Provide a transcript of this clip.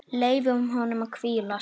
Frans